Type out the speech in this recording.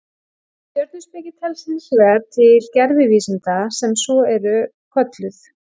Stjörnuspeki telst hins vegar til gervivísinda sem svo eru kölluð.